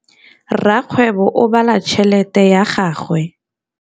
Rakgwêbô o bala tšheletê ya gagwe.